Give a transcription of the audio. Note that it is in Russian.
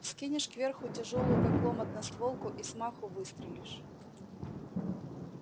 вскинешь кверху тяжёлую как лом одностволку и с маху выстрелишь